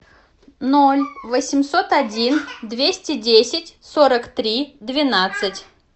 ноль восемьсот один двести десять сорок три двенадцать